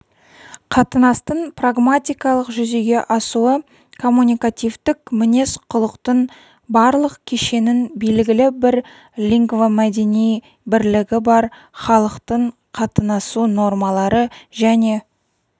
қатынастың прагматикалық жүзеге асуы коммуникативтік мінез-құлықтың барлық кешенін белгілі бір лингвомәдени бірлігі бар халықтың қатынасу нормалары және